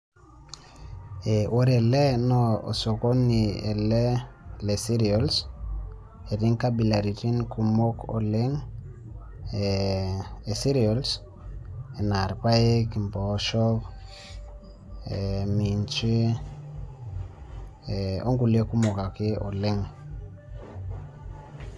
Ore ele naa osokoni ele le cereals, etii nkabilaritin kumok oleng e cereals, enaa irpaek, impoosho, minji, onkulie kumok ake oleng.